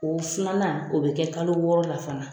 O filanan, o bɛ kɛ kalo wɔɔrɔ la fana.